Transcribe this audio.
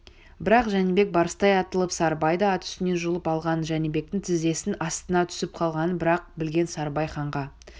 бірақ жәнібек барыстай атылып сарыбайды ат үстінен жұлып алған жәнібектің тізесінің астына түсіп қалғанын бір-ақ білген сарыбай ханға